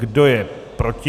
Kdo je proti?